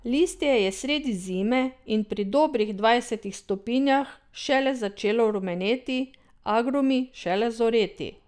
Listje je sredi zime in pri dobrih dvajsetih stopinjah šele začelo rumeneti, agrumi šele zoreti.